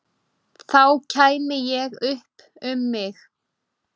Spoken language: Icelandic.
Þá kæmi ég upp um mig.